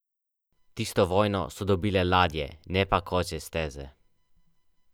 Vključujejo sedem rebalansov proračuna za letos in proračun za prihodnje leto.